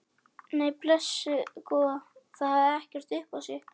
Nei, blessuð góða, það hefði ekkert upp á sig.